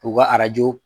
K'u ka arajo